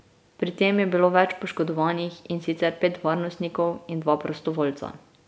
Pri tem je bilo več poškodovanih, in sicer pet varnostnikov in dva prostovoljca.